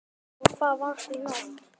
Og hvar varstu í nótt?